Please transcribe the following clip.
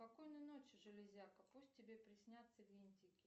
спокойной ночи железяка пусть тебе приснятся винтики